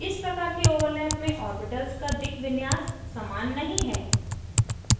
इस प्रकार के overlap में ऑर्बिटल्स का दिक् विन्यास orientation समान नहीं है